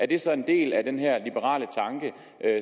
det så en del af den her liberale tanke